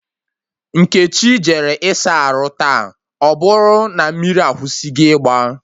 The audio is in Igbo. Nkechi jere ịsa arụ taa, ọbụrụ na mmiri akwụsịgo igba